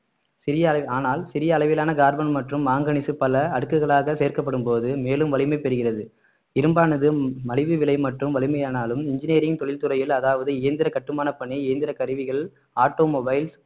சிறிய அளவி~ ஆனால் சிறிய அளவிலான கார்பன் மற்றும் மாங்கனிஸ் பல அடுக்குகளாக சேர்க்கப்படும்போது மேலும் வலிமை பெறுகிறது இரும்பானது மலிவு விலை மற்றும் வலிமை ஆனாலும் engineering தொழில்துறையில் அதாவது இயந்திர கட்டுமான பணி இயந்திர கருவிகள் automobiles